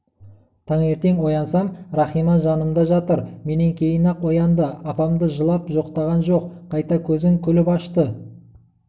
таңертең оянсам рахима жанымда жатыр менен кейін-ақ оянды апамды жылап жоқтаған жоқ қайта көзін күліп ашты